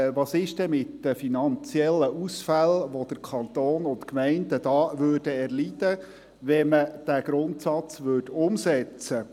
Was ist denn mit den finanziellen Ausfällen, welche der Kanton und die Gemeinden erleiden würden, wenn man diesen Grundsatz umsetzte?